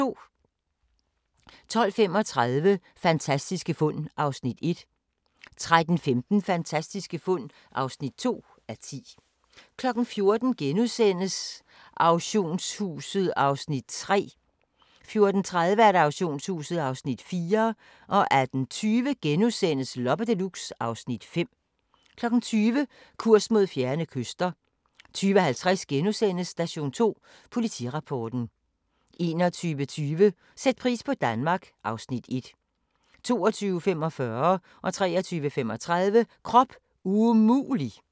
12:35: Fantastiske fund (1:10) 13:15: Fantastiske fund (2:10) 14:00: Auktionshuset (Afs. 3)* 14:30: Auktionshuset (Afs. 4) 18:20: Loppe Deluxe (Afs. 5)* 20:00: Kurs mod fjerne kyster 20:50: Station 2: Politirapporten * 21:20: Sæt pris på Danmark (Afs. 1) 22:45: Krop umulig! 23:35: Krop umulig!